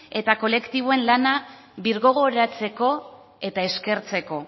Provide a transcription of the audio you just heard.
eta kolektiboen lana birgogoratzeko eta eskertzeko